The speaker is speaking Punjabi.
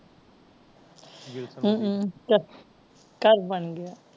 ਬਿਲਕੁਲ ਘਰ ਬਣ ਗਿਆ